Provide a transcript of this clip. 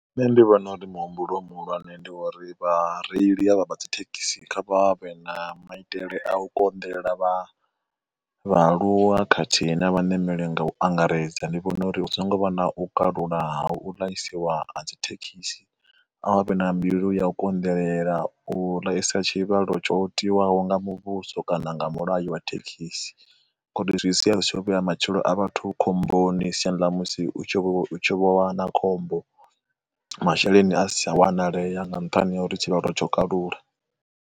Nṋe ndi vhona uri muhumbulo muhulwane ndi wo uri vhareili ha vha vha vha dzi thekhisi kha vha vhe na maitele a u konḓelela vhaaluwa khathihi na vhanemeli nga u angaredza, ndi vhona uri u songo vha na u kalula hu ḽaisiwa ha dzi thekhisi a vha vhe na mbilu ya u konḓelela u ḽaisa tshivhalwo tsho tiwaho nga muvhuso kana nga mulayo wa thekhisi, ngori zwi siya zwi tsho vho vhea matshilo a vhathu khomboni siani ḽa musi u tshi vho, hu tshi vho vha na khombo masheleni a sa wanalea nga nṱhani ha uri tshivhalo tsho kalula.